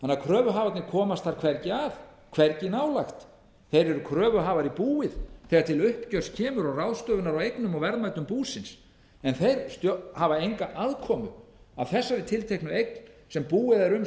kröfuhafarnir komast þar hvergi að hvergi nálægt þeir eru kröfuhafar í búið þegar til uppgjörs kemur og ráðstöfunar á eignum og verðmætum búsins en þeir hafa enga aðkomu að þessari tilteknu eign sem búið er um